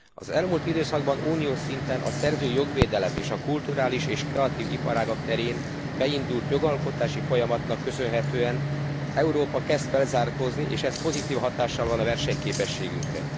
Az elmúlt időszakban uniós szinten a szerzői jogvédelem és a kulturális és kreatív iparágak terén beindult jogalkotási folyamatnak köszönhetően Európa kezd felzárkózni, és ez pozitív hatással van a versenyképességünkre.